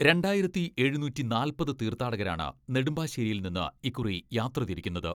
രണ്ടായിരത്തി എഴുനൂറ്റി നാൽപ്പത് തീർത്ഥാടകരാണ് നെടുമ്പാശ്ശേരിയിൽ നിന്ന് ഇക്കുറി യാത്ര തിരിക്കുന്നത്.